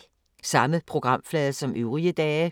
Samme programflade som øvrige dage